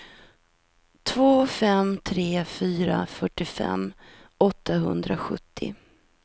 två fem tre fyra fyrtiofem åttahundrasjuttio